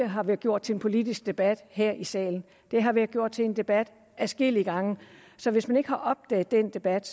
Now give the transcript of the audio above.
har været gjort til en politisk debat her i salen det har været gjort til en debat adskillige gange så hvis man ikke har opdaget den debat